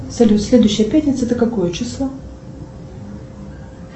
салют следующая пятница это какое число